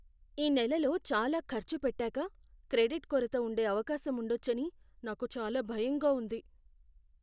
ఈ నెలలో చాలా ఖర్చు పెట్టాక క్రెడిట్ కొరత ఉండే అవకాశం ఉండొచ్చని నాకు చాలా భయంగా ఉంది.